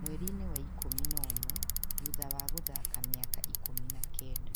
mweri-inĩ wa ikũmi na ũmwe thutha wa gũthaaka mĩaka ikũmi na kenda.